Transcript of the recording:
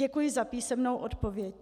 Děkuji za písemnou odpověď.